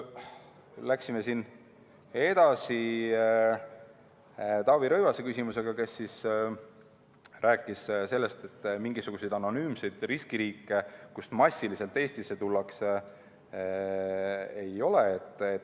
Läksime edasi Taavi Rõivase küsimusega, kes rääkis sellest, et mingisuguseid anonüümseid riskiriike, kust massiliselt Eestisse tullakse, ei ole.